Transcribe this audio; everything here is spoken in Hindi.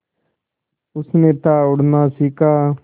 उसने था उड़ना सिखा